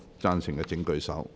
贊成的請舉手。